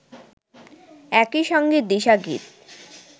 একই সঙ্গে দিশা গীত